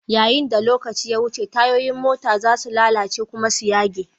Yayin da lokaci ya wuce, tayoyin mota za su lalace kuma su yage.